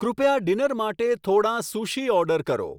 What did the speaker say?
કૃપયા ડિનર માટે થોડાં સુશી ઓર્ડર કરો